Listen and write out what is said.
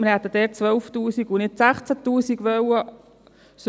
Wir hätten dort 12 000 Franken und nicht 16 000 Franken gewollt.